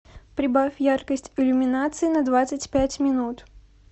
прибавь яркость иллюминации на двадцать пять минут